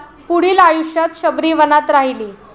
पुढील आयुष्यात शबरी वनात राहिली